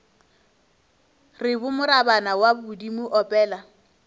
re morabana wa bodimo opela